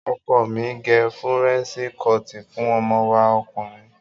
Ọkọ mi gẹ Fúrẹ́ńṣí kọọ̀tì fún ọmọ wa ọkùnrin.